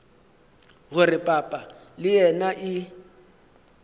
gore papa le yena e